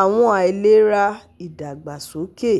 àwọn àìlera idagbasoke